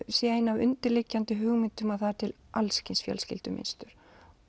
sé ein af undirliggjandi hugmyndum að það er til alls kyns fjölskyldumynstur